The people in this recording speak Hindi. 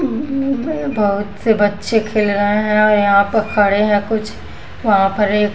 बहुत से बच्चे खेल रहे हैं और यहाँ पर खड़े हैं कुछ वहाँ पर एक --